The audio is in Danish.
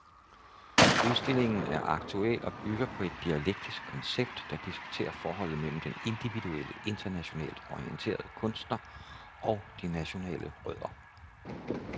Udstillingen er aktuel og bygger på et dialektisk koncept, der diskuterer forholdet mellem den individuelle, internationalt orienterede kunstner og de nationale rødder.